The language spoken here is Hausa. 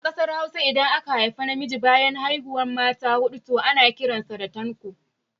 A Ƙasar Hausa, idan aka haifu namiji bayan haihuwar mata huɗu, to ana kiran sa da suna Tanko